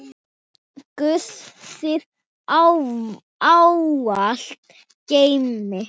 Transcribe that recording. Guð þig ávallt geymi.